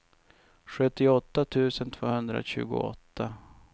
sjuttioåtta tusen tvåhundratjugoåtta